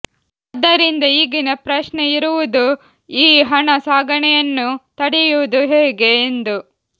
ಆದ್ದರಿಂದ ಈಗಿನ ಪ್ರಶ್ನೆ ಇರುವುದು ಈ ಹಣ ಸಾಗಣೆಯನ್ನು ತಡೆಯುವುದು ಹೇಗೆ ಎಂದು